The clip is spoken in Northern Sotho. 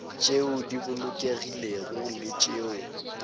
tšeo di bolokegilego le tšeo